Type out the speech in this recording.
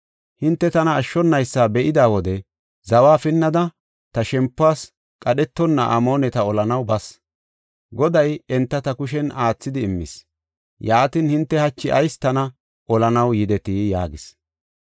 Hinte tana ashshonaysa be7ida wode zawa pinnada ta shempuwas qadhetonna Amooneta olanaw bas; Goday enta ta kushen aathidi immis. Yaatin, hinte hachi ayis tana olanaw yidetii?” yaagis.